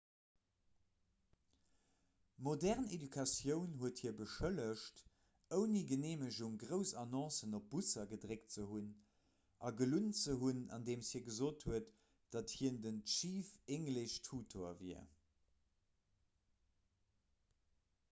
modern education huet hie beschëllegt ouni geneemegung grouss annoncen op busser gedréckt ze hunn a gelunn ze hunn andeem hie gesot huet datt hien den chief english tutor wier